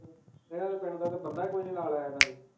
ਐਨਾ ਦੇ ਪਿੰਡ ਤੇ ਬੰਦਾ ਕੋਈ ਨਾਈ ਨਾਲ ਆਯਾ ਐਨਾ ਦੇ